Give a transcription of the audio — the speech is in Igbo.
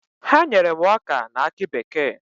Ha nyere m ọka na akị bekee.